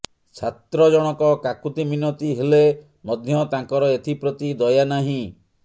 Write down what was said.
ଛାତ୍ର ଜଣକ କାକୁତିମିନତି ହେଲେ ମଧ୍ୟ ତାଙ୍କର ଏଥିପ୍ରତି ଦୟା ନାହିଁ